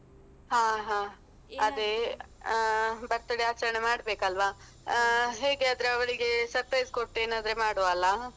ಹಾ ಹಾ ಅದೇ ಆ birthday ಆಚರಣೆ ಮಾಡ್ಬೇಕಲ್ವಾ ಆ ಹೇಗಾದ್ರೆ ಅವಳಿಗೆ surprise ಕೊಟ್ಟ್ ಏನಾದ್ರೆ ಮಾಡುವ ಅಲ್ಲ.